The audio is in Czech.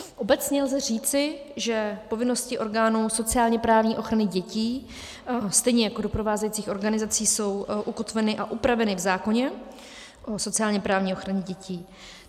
Obecně lze říci, že povinnosti orgánů sociálně-právní ochrany dětí stejně jako doprovázejících organizací jsou ukotveny a upraveny v zákoně o sociálně-právní ochraně dětí.